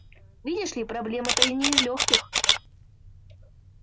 видишь ли проблема-то не из лёгких